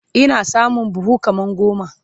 Ina samun buhu kaman goma